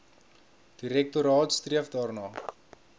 direktoraat streef daarna